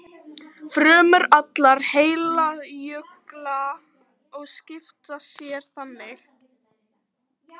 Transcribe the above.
Frumur allra heilkjörnunga skipta sér þannig.